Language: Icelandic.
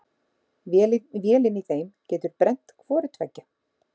Vélin í þeim getur brennt hvoru tveggja.